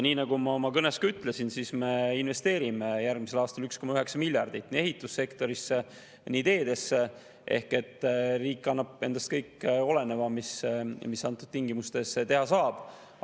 Nii nagu ma oma kõnes ka ütlesin, me investeerime järgmisel aastal 1,9 miljardit nii ehitussektorisse kui ka teedesse ehk riik kõik endast oleneva, mida antud tingimustes teha saab.